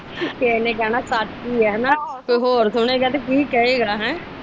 ਕਿਸੇ ਨੇ ਕਹਿਣਾ ਸੱਚ ਹੀ ਆ ਤੇ ਕੋਈ ਹੋਰ ਸੁਣੇਗਾ ਤੇ ਕੀ ਕਹੇਗਾ ਹੈਂ?